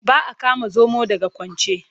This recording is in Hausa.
Ba a kama zomo daga kwance.